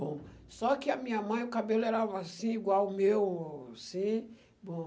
Bom, só que a minha mãe, o cabelo era assim, igual o meu, assim, bom.